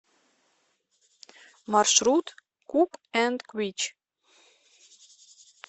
маршрут кук энд куич